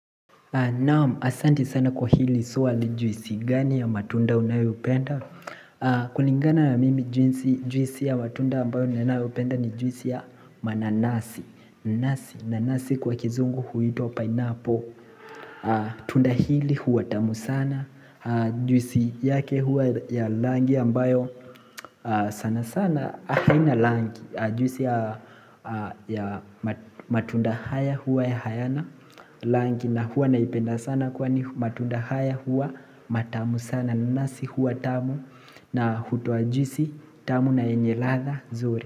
Naam, asanti sana kwa hili swali juisi gani ya matunda unayoipenda kulingana ya mimi juisi ya matunda ambayo ninayopenda ni juisi ya mananasi nasi, nanasi kwa kizungu huitwa pineapple Tunda hili huwa tamu sana Juisi yake hua ya rangi ambayo sana sana haina rangi, juisi ya matunda haya huwa ya hayana rangi na huwa naipenda sana kwa ni matunda haya huwa matamu sana na nanasi huwa tamu na hutoajisi tamu na yenye ladha zuri.